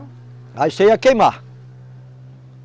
Aí você ia queimar.